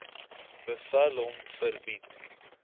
bevel hom verbied